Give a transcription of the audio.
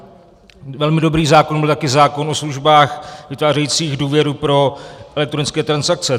Velmi dobrý zákon byl taky zákon o službách vytvářejících důvěru pro elektronické transakce.